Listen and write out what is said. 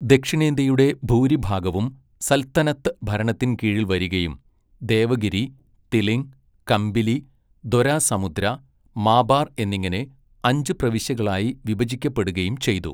ദക്ഷിണേന്ത്യയുടെ ഭൂരിഭാഗവും സൽത്തനത്ത് ഭരണത്തിൻ കീഴിൽ വരികയും ദേവഗിരി, തിലിംഗ്, കമ്പിലി, ദൊരാസമുദ്ര, മാബാർ എന്നിങ്ങനെ അഞ്ച് പ്രവിശ്യകളായി വിഭജിക്കപ്പെടുകയും ചെയ്തു.